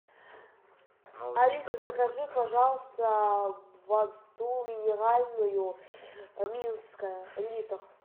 алиса закажи пожалуйста воду минеральную минская литр